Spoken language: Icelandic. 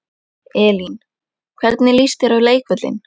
Elín: Hvernig líst þér á leikvöllinn?